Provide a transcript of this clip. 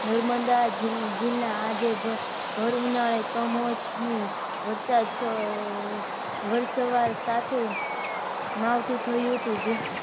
નર્મદા જિલ્લા આજે ભર ઉનાળે કમોસમી વરસાદ વર્ષવાર સાથે માવઠું થયું હતું